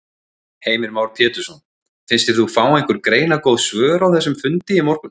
Heimir Már Pétursson: Fannst þér þú fá einhver greinargóð svör á þessum fundi í morgun?